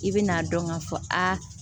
I bɛ n'a dɔn k'a fɔ a